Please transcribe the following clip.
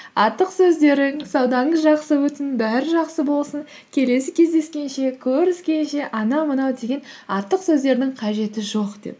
артық сөздерің саудаңыз жақсы өтсін бәрі жақсы болсын келесі кездескенше көріскенше анау мынау деген артық сөздердің қажеті жоқ деп